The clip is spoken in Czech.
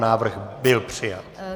Návrh byl přijat.